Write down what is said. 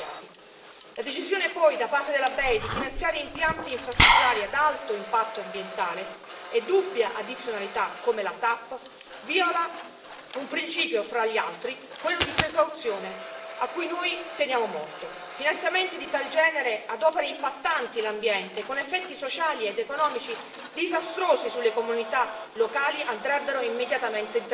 In secondo luogo, la decisione da parte della BEI di finanziare impianti infrastrutturali ad alto impatto ambientale e dubbia addizionalità, come la TAP, viola un principio, fra gli altri, quello di precauzione, a cui noi teniamo molto. Finanziamenti di tal genere ad opere impattanti l'ambiente, con effetti sociali ed economici disastrosi sulle comunità locali, andrebbero immediatamente interrotti.